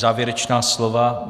Závěrečná slova.